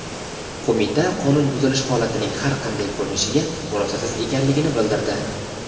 qo‘mita qonun buzilish holatining har qanday ko‘rinishiga murosasiz ekanligini bildirdi.